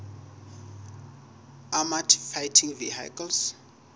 armoured fighting vehicles